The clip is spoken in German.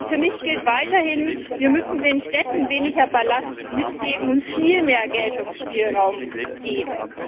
Für mich gilt weiterhin Wir müssen den Städten weniger Ballast mitgeben und viel mehr Geltungsspielraum geben.